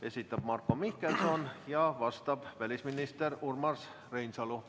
Esitab Marko Mihkelson ja vastab välisminister Urmas Reinsalu.